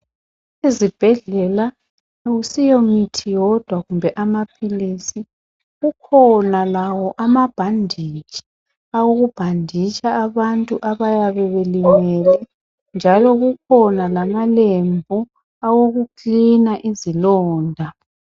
Ezibhedlela akusiyo mithi yodwa kumbe amaphilisi, kukhona lawo ama bhanditshi awokubhanditsha abantu abayabe belimele njalo kukhona lama lembu awokukilina izilonda.